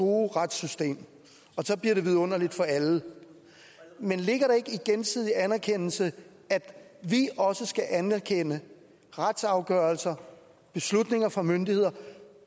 gode retssystem og så bliver det vidunderligt for alle men ligger i gensidig anerkendelse at vi også skal anerkende retsafgørelser beslutninger fra myndigheder